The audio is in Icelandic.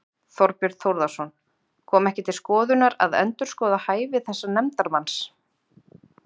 Þorbjörn Þórðarson: Kom ekki til skoðunar að endurskoða hæfi þessa nefndarmanns?